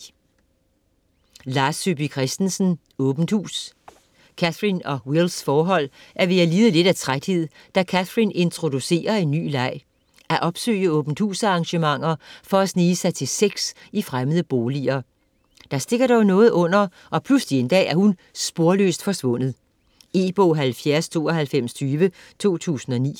Christensen, Lars Saabye: Åbent hus Cathrin og Wills forhold er ved at lide af lidt træthed, da Cathrin introducerer en ny leg: at opsøge åbent-hus-arrangementer for at snige sig til sex i fremmede boliger. Der stikker dog noget under, og pludselig en dag er hun sporløst forsvundet. E-bog 709220 2009.